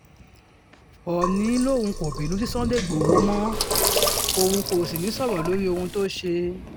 òónì lòun kò bínú sí sunday igbodò mọ́ òun kò sì ní í sọ̀rọ̀ lórí ohun tó ṣe